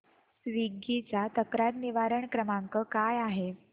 Swiggy चा तक्रार निवारण क्रमांक काय आहे